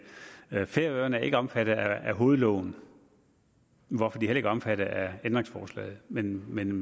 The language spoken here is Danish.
færøerne er ikke omfattet af hovedloven hvorfor de heller ikke er omfattet af ændringsforslaget men men